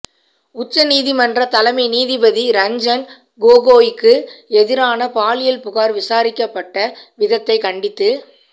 உச்ச நீதிமன்ற தலைமை நீதிபதி ரஞ்சன் கோகோய்க்கு எதிரான பாலியல் புகார் விசாரிக்கப்பட்ட விதத்தைக் கண்டித்து